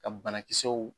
Ka banakisɛw